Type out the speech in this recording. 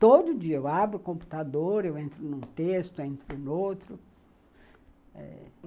Todo dia eu abro o computador, eu entro num texto, eu entro num outro.